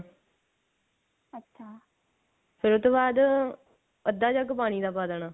ਫੇਰ ਉਹ ਤੋਂ ਬਾਅਦ ਅੱਧਾ ਜੱਗ ਪਾਣੀ ਦਾ ਪਾ ਦੇਣਾ